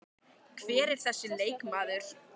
Hver er þessi leikmaður?